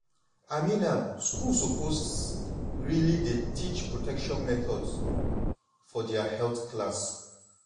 i mean am schools suppose really dey teach about protection methods for their health class.